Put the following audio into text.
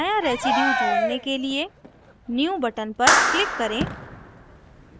नया residue जोड़ने के लिए new button पर click करें